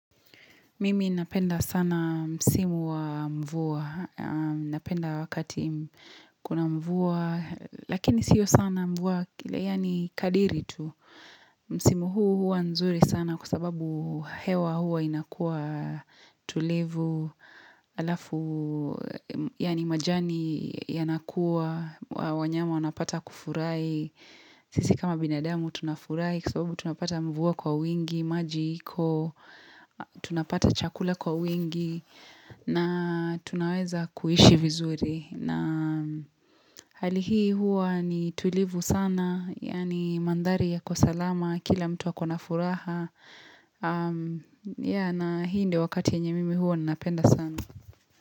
Mimi napenda sana msimu wa mvua, napenda wakati kuna mvua, lakini sio sana mvua, kile yani kadiritu. Msimu huu hua nzuri sana kwa sababu hewa hua inakua tulivu, alafu, yani majani yanakua, wanyama wanapata kufurai. Sisi kama binadamu tunafurai Kwa sababu tunapata mvua kwa wingi maji iko tunapata chakula kwa wingi na tunaweza kuishi vizuri na hali hii huwa ni tulivu sana Yani mandhari yako salama Kila mtu akona. Furaha ya na hii ndio wakati yenye mimi huwa Napenda sana.